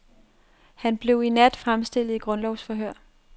Han blev i nat fremstillet i grundlovsforhør.